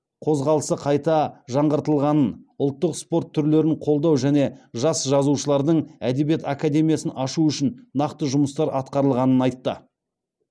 қозғалысы қайта жаңғыртылғанын ұлттық спорт түрлерін қолдау және жас жазушылардың әдебиет академиясын ашу үшін нақты жұмыстар атқарылғанын айтты